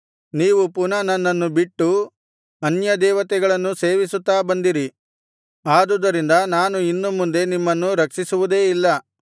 ನೀವು ಪುನಃ ನನ್ನನ್ನು ಬಿಟ್ಟು ಅನ್ಯದೇವತೆಗಳನ್ನು ಸೇವಿಸುತ್ತಾ ಬಂದಿರಿ ಆದುದರಿಂದ ನಾನು ಇನ್ನು ಮುಂದೆ ನಿಮ್ಮನ್ನು ರಕ್ಷಿಸುವುದೇ ಇಲ್ಲ